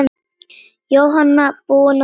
Jóhanna: Búinn að öllu?